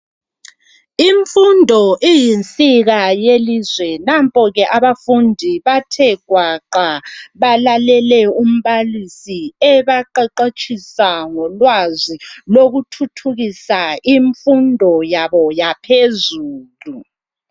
Imfundo iyinsika yelizwe nampo ke abafundi bathe gwaqa balalele umbalisi ebaqeqetshisa ngolwazi lokuthuthukisa imfundo ayabo yaphezulu.